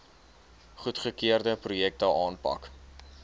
goedgekeurde projekte aanpak